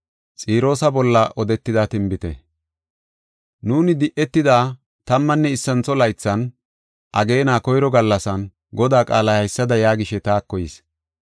Nuuni di7etida tammanne issantho laythan, ageena koyro gallasan, Godaa qaalay haysada yaagishe taako yis.